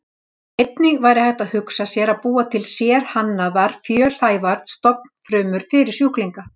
Einnig væri hægt að hugsa sér að búa til sérhannaðar fjölhæfar stofnfrumur fyrir sjúklinga.